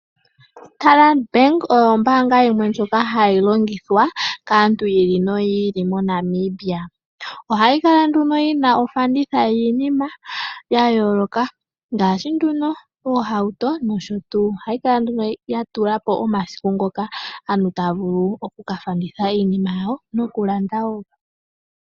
Standard bank oyo ombaanga yimwe ndjoka hayi longithwa kaantu yiili noyili moNamibia ohayi kala nduno yina ofanditha yiinima ya yooloka ngaashi oohauto nosho tuu. Ohayi kala ya tula po omasiku ngoka aantu taya vulu oku kafanditha nokulanda iinima yawo.